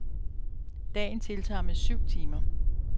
Dagen tiltaget med syv timer.